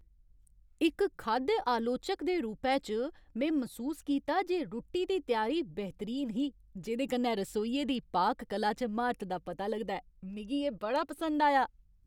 इक खाद्य आलोचक दे रूपै च, में मसूस कीता जे रुट्टी दी त्यारी बेहतरीन ही, जेह्दे कन्नै रसोइये दी पाक कला च म्हारत दा पता लगदा ऐ। मिगी एह् बड़ा पसंद आया।